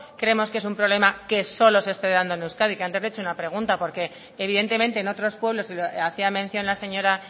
creemos que es un problema que solo se está dando en euskadi que antes le he hecho una pregunta porque evidentemente en otros pueblos y hacía mención la señora